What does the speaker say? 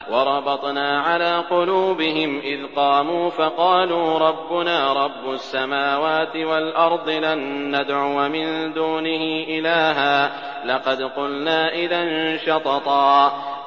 وَرَبَطْنَا عَلَىٰ قُلُوبِهِمْ إِذْ قَامُوا فَقَالُوا رَبُّنَا رَبُّ السَّمَاوَاتِ وَالْأَرْضِ لَن نَّدْعُوَ مِن دُونِهِ إِلَٰهًا ۖ لَّقَدْ قُلْنَا إِذًا شَطَطًا